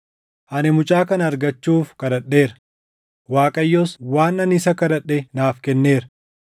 Ani mucaa kana argachuuf kadhadheera; Waaqayyos waan ani isa kadhadhe naaf kenneera.